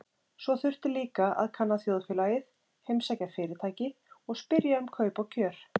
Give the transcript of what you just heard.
Svo þurfti líka að kanna þjóðfélagið, heimsækja fyrirtæki og spyrja um kaup og kjör.